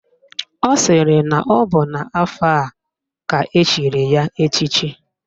Ọ sịrị na ọ bụ n'afọ a ka echiri ya echichi